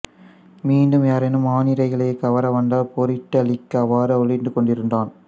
மீண்டும் யாரேனும் ஆனிரைகளைக் கவர வந்தால் போரிட்டழிக்க அவ்வாறு ஒளிந்துகொண்டிருந்தான்